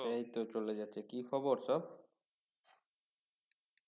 এই তো চলে যাচ্ছে কি খবর সব